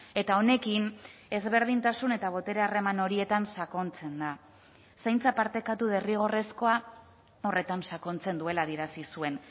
eta honekin ezberdintasun eta botere harreman horietan sakontzen da zaintza partekatu derrigorrezkoa horretan sakontzen duela adierazi zuen